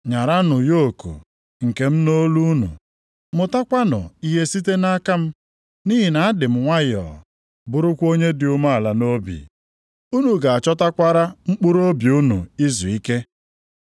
Nyaranụ yoku + 11:29 Maọbụ, ịyagba nke m nʼolu unu, mụtakwanụ ihe site nʼaka m. Nʼihi na adị m nwayọọ, bụrụkwa onye dị umeala nʼobi. Unu ga-achọtakwara mkpụrụobi unu izuike.